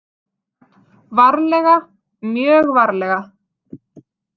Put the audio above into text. Varlega, mjög varlega.